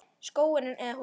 Skógur eða hús?